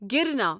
گرنا